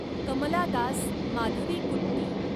Kamala Das, Madhavikutty